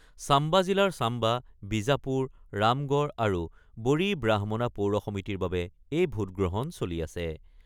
Samba জিলাৰ ছাম্বা, বিজাপুৰ, ৰামগড় আৰু বড়ি ব্ৰাহ্মণা পৌৰ সমিতিৰ বাবে এই ভোটগ্ৰহণ চলি আছে।